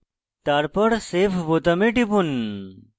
তারপর save বোতামে টিপুন